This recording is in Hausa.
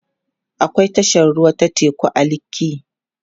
akwai tashar ruwa ta teku a lekki